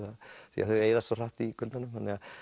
því þau eyðast svo hratt í kuldanum